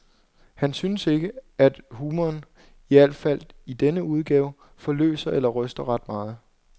Han synes ikke, at humoren, i al fald i denne udgave, forløser eller ryster ret meget.